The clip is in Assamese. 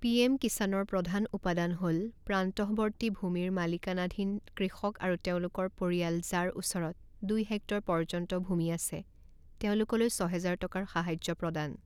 পিএম কিষাণৰ প্ৰধান উপাদান হ'ল প্ৰান্তঃৱৰ্তী ভূমিৰ মালিকানাধীন কৃষক আৰু তেওঁলোকৰ পৰিয়াল যাৰ ওচৰত দুই হেক্টৰ পৰ্যন্ত ভূমি আছে, তেওঁলোকলৈ ছহেজাৰ টকাৰ সাহায্য প্ৰদান।